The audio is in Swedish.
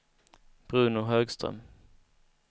Bruno Högström